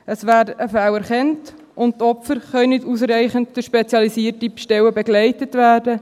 Es werden Fälle erkannt, und die Opfer können nicht ausreichend durch spezialisierte Stellen begleitet werden.